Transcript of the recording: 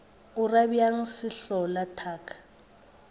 o ra bjang sehlola thaka